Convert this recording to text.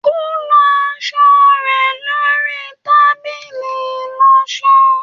Ko lọ aṣọ rẹ lori tábìlì ìlọṣọ